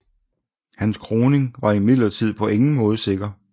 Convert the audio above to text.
Hans kroning var imidlertid på ingen måde sikker